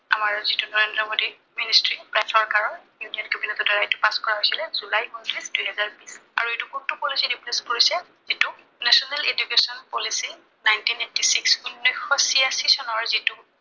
আমাৰ যিটো নৰেন্দ্ৰ মোদী ministry তেওঁৰ চৰকাৰৰ union cabinet ৰ দ্বাৰা এইটো pass কৰা হৈছিলে, জুলাই উনত্ৰিশ, দুহেজাৰ বিশ। আৰু এইটো কোনটো policy ক replace কৰিছে, এইটো national education policy, nineteen eighty six উনৈছশ চিয়াশী চনৰ যিটো